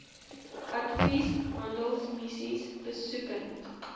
advies handelsmissies besoekend